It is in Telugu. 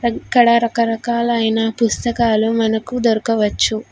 ఇక్కడ రకరకాలైన పుస్తకాలు మనకు దొరకవచ్చు.